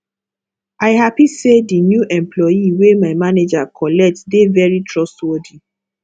i happy say the new employee wey my manager collect dey very trustworthy